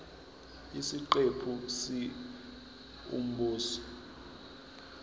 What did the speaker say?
isiqephu c umbuzo